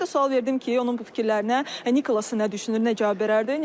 Və mən də sual verdim ki, onun bu fikirlərinə Nikolas necə düşünüb, necə cavab verərdi?